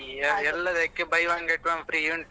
ಇಲ್ಲಿ ಎಲ್ಲದಕ್ಕೆ buy one get one free ಉಂಟು.